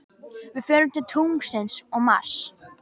Við förum til tunglsins og Mars.